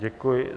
Děkuji.